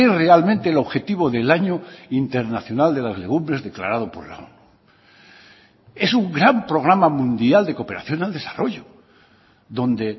realmente el objetivo del año internacional de las legumbres declarado por la onu es un gran programa mundial de cooperación al desarrollo donde